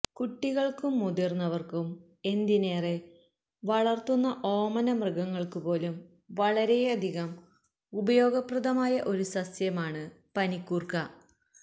കുട്ടികൾക്കും മുതിർന്ന വർക്കും എന്തിനേറെ വളർത്തുന്ന ഓമനമൃഗങ്ങൾക്കുപോലും വളരെയധികം ഉപയോഗപ്രദമായ ഒരു സസ്യമാണ് പനിക്കൂർക്ക